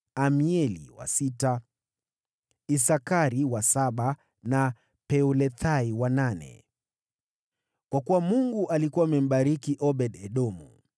Amieli wa sita, Isakari wa saba, na Peulethai wa nane. (Kwa kuwa Mungu alikuwa amembariki Obed-Edomu.)